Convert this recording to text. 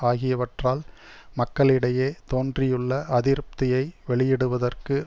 ஆகியவற்றால் மக்களிடையே தோன்றியுள்ள அதிருப்தியை வெளியிடுவதற்கு